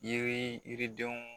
Yiri yiridenw